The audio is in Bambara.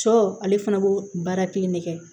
Sɔ ale fana b'o baara kelen ne kɛ